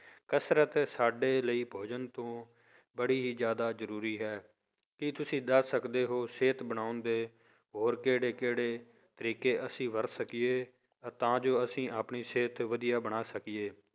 ਕਸ਼ਰਤ ਸਾਡੇ ਲਈ ਭੋਜਨ ਤੋਂ ਬੜੀ ਹੀ ਜ਼ਿਆਦਾ ਜ਼ਰੂਰੀ ਹੈ, ਕੀ ਤੁਸੀਂ ਦੱਸ ਸਕਦੇ ਹੋ ਸਿਹਤ ਬਣਾਉਣ ਦੇ ਹੋਰ ਕਿਹੜੇ ਕਿਹੜੇ ਤਰੀਕੇ ਅਸੀਂ ਵਰਤ ਸਕੀਏ ਤਾਂ ਜੋ ਅਸੀਂ ਆਪਣੀ ਸਿਹਤ ਵਧੀਆ ਬਣਾ ਸਕੀਏ